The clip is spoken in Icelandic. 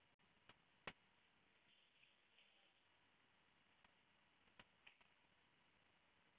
En ég skil þær ekki.